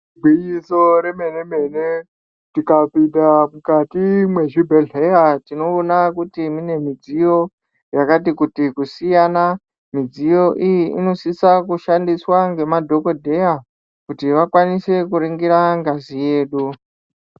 Igwinyiso remene mene tikapinda mukati mwezvibhehleya tinoona kuti mune midziyo yakati kuti kusiyana. Midziyo iyi inosisa kushandiswa nemadhokodheya kuti vakwanise kuringira ngazi yedu.